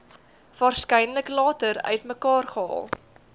waarskynlik later uitmekaargehaal